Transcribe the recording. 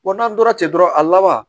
n'an tora ten dɔrɔn a laban